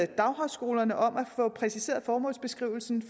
daghøjskolerne om at få præciseret formålsbeskrivelsen